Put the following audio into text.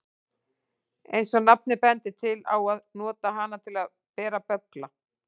Eins og nafnið bendir til á að nota hana til að bera böggla.